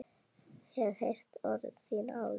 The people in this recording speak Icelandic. Hef heyrt orð þín áður.